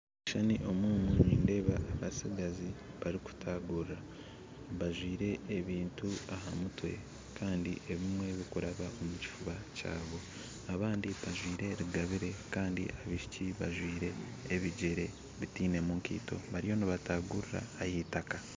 Omu kishushani omu nindeeba abatsigazi barikutaguruura bajwire ebintu aha mutwe kandi ebimwe bikuraba omu kifuuba kyabo abandi bajwire rugabiire kandi abaishiki bajwire ebigyere bitainemu ekaito bariyo nibataguruura ah'itaaka